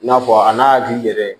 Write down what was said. I n'a fɔ a n'a hakili yɛrɛ